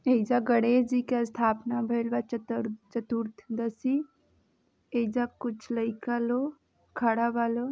एइजा गणेश जी के स्थापना भईल बा। चतर चतुर्थदशी एइजा कुछ लइका लो खड़ा बा लो।